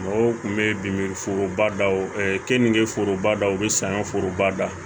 Mɔgɔw kun bɛ bin foroba daw ɛɛ keninke forobadaw bɛ sanyɔn foroba da